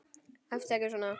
Æptu ekki svona!